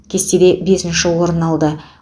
кестеде бесінші орын алды